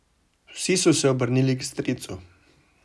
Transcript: Vsi so se obrnili k stricu.